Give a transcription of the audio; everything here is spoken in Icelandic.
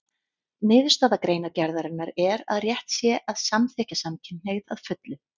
Niðurstaða greinargerðarinnar er að rétt sé að samþykkja samkynhneigð að fullu.